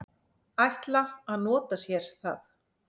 ætla að nota sér það.